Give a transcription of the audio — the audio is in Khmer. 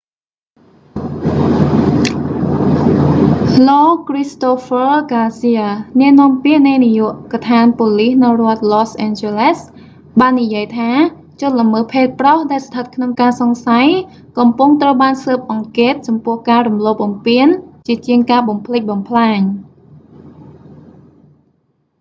លោក christopher garcia គ្រីស្តូហ្វឺ ហ្គាស៊ៀ អ្នកនាំពាក្យនៃនាយកដ្ឋានប៉ូលិសនៅរដ្ឋ los angeles បាននិយាយថា ជនល្មើសភេទប្រុស ដែលស្ថិតក្នុងការសង្ស័យ កំពុងត្រូវបានស៊ើបអង្កេតចំពោះការរំលោភបំពានជាជាងការបំផ្លិចបំផ្លាញ